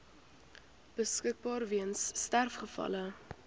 beskikbaar weens sterfgevalle